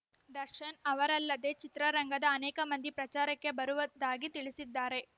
ದರ್ಶನ್ ಅವರಲ್ಲದೆ ಚಿತ್ರರಂಗದ ಅನೇಕ ಮಂದಿ ಪ್ರಚಾರಕ್ಕೆ ಬರುವುದ್ದಾಗಿ ತಿಳಿಸಿದ್ದಾರೆ